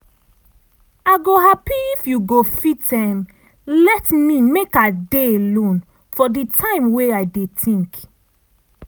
i go happy if you go fit let me make i dey alone for di time wey i dey think.